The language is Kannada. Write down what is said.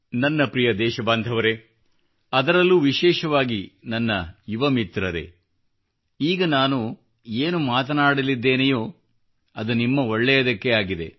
ನನ್ನ ಪ್ರಿಯ ದೇಶ ಬಾಂಧವರೇ ಅದರಲ್ಲೂ ವಿಶೇಷವಾಗಿ ನನ್ನ ಯುವ ಮಿತ್ರರೇ ಈಗ ನಾನು ಏನು ಮಾತನಾಡಲಿದ್ದೇನೆಯೋ ಅದು ನಿಮ್ಮ ಒಳ್ಳೆಯದಕ್ಕೇ ಆಗಿದೆ